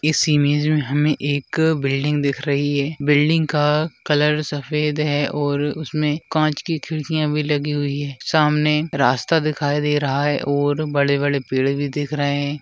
इस इमेज मे हमे एक बिल्डिंग दिख रही है बिल्डिंग का कलर सफेद है और उसमे कांच की खिड़कियां भी लगी हुई है सामने रास्ता दिखाई दे रहा है और बड़े-बड़े पेड़ भी दिख रहे हैं।